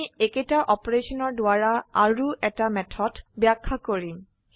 আমি একেটা অপাৰেশনৰ দ্বাৰা আৰু এটা মেথড ব্যাখ্যা কৰিম